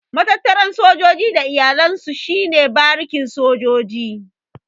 Matattaran sojoji da iyalan su shi ne barikin sojoji.